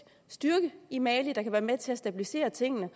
styrke i mali der kan være med til at stabilisere tingene